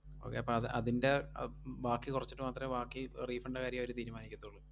Okay അപ്പ അത് അതിൻറെ അഹ് ഉം ബാക്കി കൊറച്ചിട്ട് മാത്രേ ബാക്കി refund ൻറെ അവര് തീരുമാനിക്കത്തോള്ളൂ.